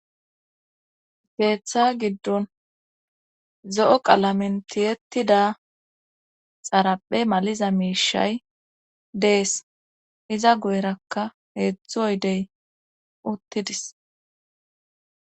Keeththa giddon zo'o qalamen tiyettida xaraphe maliza miishay dees iza guyrakka heedzdzu oydey uttidis